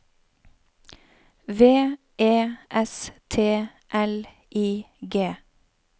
V E S T L I G